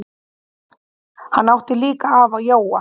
Hann átti líka afa Jóa.